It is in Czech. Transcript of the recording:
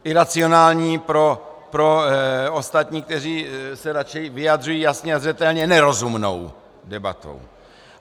Iracionální pro ostatní, kteří se raději vyjadřují jasně a zřetelně, nerozumnou debatou.